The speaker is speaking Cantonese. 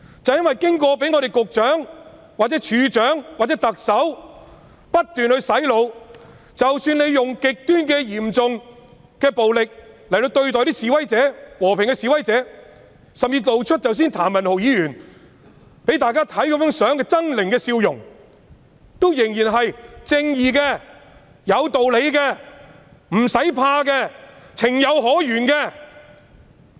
因為警員被局長、處長或特首不斷洗腦，令他們認為即使使用極端嚴重暴力對待和平示威者，甚至如譚文豪議員剛才展示的相片般露出猙獰的笑容，他們仍然是正義的、有道理的、無需害怕的，是情有可原的。